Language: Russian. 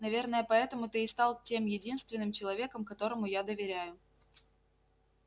наверное поэтому ты и стал тем единственным человеком которому я доверяю